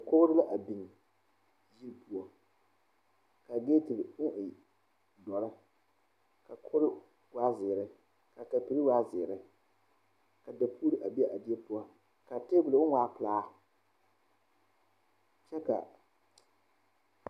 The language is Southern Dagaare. Dɔɔ ane pɔge la a are ka mine zeŋ ba seɛŋ kaa dɔɔ a zeŋ teŋa kaa pɔgɔ a kyaaroo kaa pɔgɔba laara kaa dɔɔ meŋ a laara kaa dɔɔ su bompeɛle kaa pɔge meŋ su bomdɔre